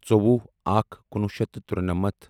ژووُہ اکھ کُنوُہ شیٚتھ تہٕ تُرٛنَمتھ